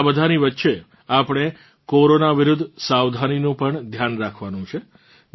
આ બધાંની વચ્ચે આપણે કોરોના વિરુદ્ધ સાવધાનીનું પણ ધ્યાન રાખવાનું છે